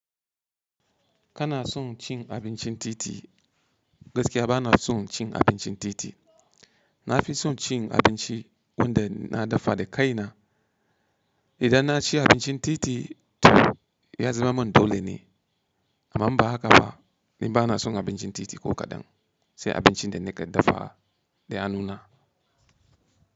Kana son cin abincin titi? Gaskiya ba na son cin abincin titi. Na fi son cin abinci wanda na dafa da kaina. Idan na ci abincin titi toh ya zama man dole ne, amma umba haka ba. Ni ba na son abincin titi ko kaɗan, sai abincin da na ke dafa da hannuna.